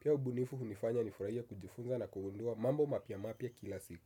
Pia ubunifu hunifanya nifurahie kujifunza na kugundua mambo mapya mapya kila siku.